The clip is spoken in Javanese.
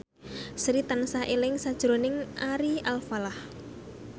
Sri tansah eling sakjroning Ari Alfalah